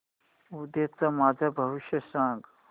उद्याचं माझं भविष्य सांग